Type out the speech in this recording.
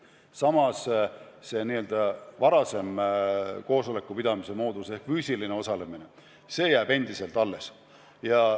Samas see n-ö varasem koosoleku pidamise moodus ehk füüsiline osalemine jääb endiselt alles.